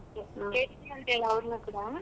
ಆ ಕೇಳಿದ್ವಿ ಅಂತ್ ಹೇಳು ಅವ್ರುನು ಕೂಡ.